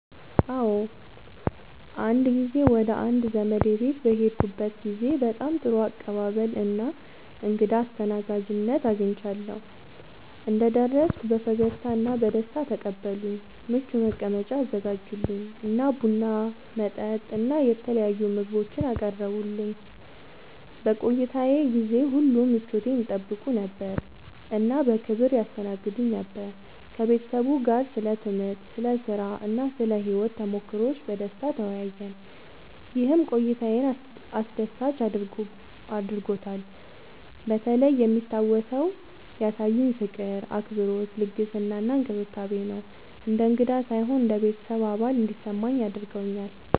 አዎ፣ አንድ ጊዜ ወደ አንድ ዘመዴ ቤት በሄድኩበት ጊዜ በጣም ጥሩ አቀባበል እና እንግዳ አስተናጋጅነት አግኝቻለሁ። እንደደረስኩ በፈገግታ እና በደስታ ተቀበሉኝ፣ ምቹ መቀመጫ አዘጋጁልኝ እና ቡና፣ መጠጥ እና የተለያዩ ምግቦችን አቀረቡልኝ። በቆይታዬ ጊዜ ሁሉ ምቾቴን ይጠይቁ ነበር እና በክብር ያስተናግዱኝ ነበር። ከቤተሰቡ ጋር ስለ ትምህርት፣ ስለ ሥራ እና ስለ ሕይወት ተሞክሮዎች በደስታ ተወያየን፣ ይህም ቆይታዬን አስደሳች አድርጎታልበተለይ የሚታወሰው ያሳዩኝ ፍቅር፣ አክብሮት፣ ልግስና እና እንክብካቤ ነው። እንደ እንግዳ ሳይሆን እንደ ቤተሰብ አባል እንዲሰማኝ አድርገውኛል።